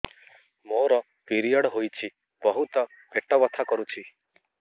ମୋର ପିରିଅଡ଼ ହୋଇଛି ବହୁତ ପେଟ ବଥା କରୁଛି